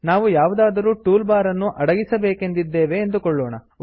ನಾವು ಯಾವುದಾದರೂ toolbar ಅನ್ನು ಅಡಗಿಸಬೇಕೆಂದಿದ್ದೇವೆ ಎಂದುಕೊಳ್ಳೋಣ